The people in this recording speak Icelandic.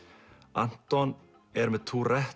Anton er með